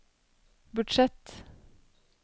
budsjett